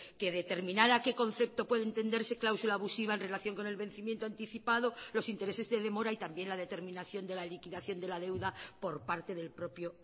que determinar a qué concepto puede entenderse cláusula abusiva en relación con el vencimiento anticipado los intereses de demora y también la determinación de la liquidación de la deuda por parte del propio